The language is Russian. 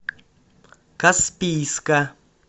каспийска